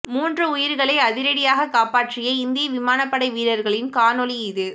மூன்று உயிர்களை அதிரடியாக காப்பாற்றிய இந்திய விமானபடை வீரர்களின் காணொளி இது